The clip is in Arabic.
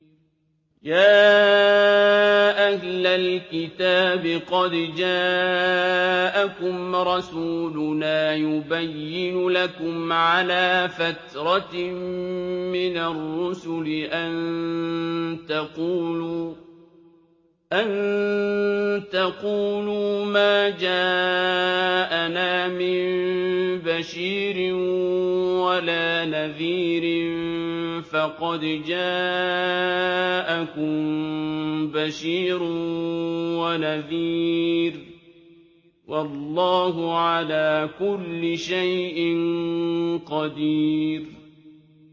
يَا أَهْلَ الْكِتَابِ قَدْ جَاءَكُمْ رَسُولُنَا يُبَيِّنُ لَكُمْ عَلَىٰ فَتْرَةٍ مِّنَ الرُّسُلِ أَن تَقُولُوا مَا جَاءَنَا مِن بَشِيرٍ وَلَا نَذِيرٍ ۖ فَقَدْ جَاءَكُم بَشِيرٌ وَنَذِيرٌ ۗ وَاللَّهُ عَلَىٰ كُلِّ شَيْءٍ قَدِيرٌ